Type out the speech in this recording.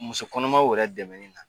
Muso kɔnɔmaw wɛrɛ dɛmɛni na.